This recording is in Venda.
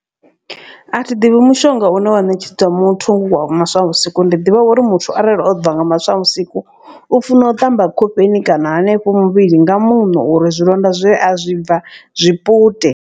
A thi ḓivhi mushonga une wa ṋetshedzwa muthu wa maswa vhusiku ndi ḓivha uri muthu arali o bva nga maswa vhusiku. U funa u ṱamba khofheni kana hanefho muvhili nga muṋo uri zwilonda zwe a zwi bva zwipute.